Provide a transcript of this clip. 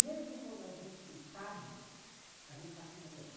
Mesmo quando a gente não sabe, a gente está acumulando.